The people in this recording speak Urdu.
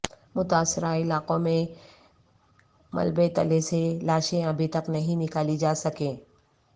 متاثرہ علاقوں میں ملبے تلے سے لاشیں ابھی تک نہیں نکالی جا سکیں